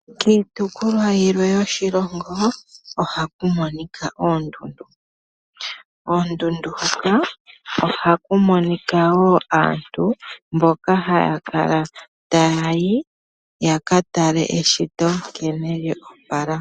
Kiitopolwa yimwe yoshilongo ohaku monika oondundu, koondundu hoka ohaku monika wo aantu mboka haya kala taya yi ya ka tale eshito nkene lya opala.